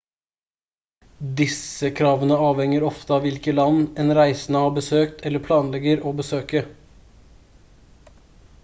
disse kravene avhenger ofte av hvilke land en reisende har besøkt eller planlegger å besøke